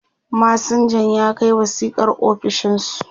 masinjan ya Kai wasiƙar ofishinsu